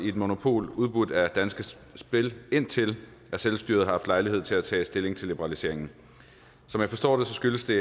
i et monopol udbudt af danske spil indtil selvstyret har haft lejlighed til at tage stilling til liberaliseringen som jeg forstår det skyldes det